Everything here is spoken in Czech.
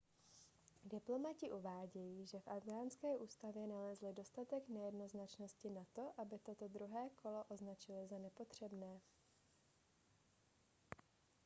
diplomati uvádějí že v afghánské ústavě nalezli dostatek nejednoznačnosti na to aby toto druhé kolo označili za nepotřebné